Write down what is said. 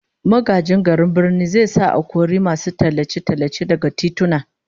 Magajin garin Birnin zai sa a kori masu tallace-tallace daga tituna